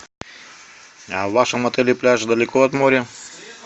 а в вашем отеле пляж далеко от моря